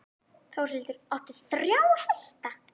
Þórhildur: Áttu þrjá hesta?